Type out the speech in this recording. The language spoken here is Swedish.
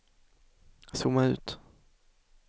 zooma ut